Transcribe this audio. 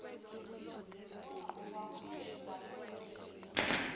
bona ngokwabo babheke